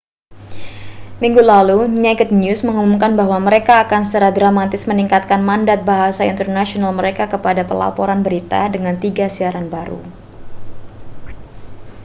minggu lalu naked news mengumumkan bahwa mereka akan secara dramatis meningkatkan mandat bahasa internasional mereka kepada pelaporan berita dengan tiga siaran baru